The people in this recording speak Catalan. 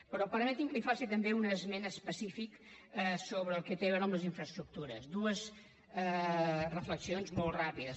però permeti’m que li faci també una esmena específica sobre el que té a veure amb les infraestructures dues reflexions molt ràpides